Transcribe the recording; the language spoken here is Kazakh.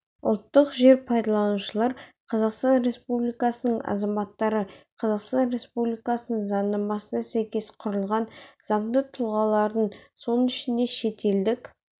ұлттық жер пайдаланушылар қазақстан республикасының азаматтары қазақстан республикасының заңнамасына сәйкес құрылған заңды тұлғалар соның ішінде шетелдік